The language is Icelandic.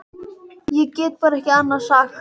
Ég get bara ekki annað sagt.